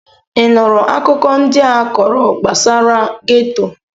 Ị nụrụ akụkọ ndị a kọrọ gbasara geto?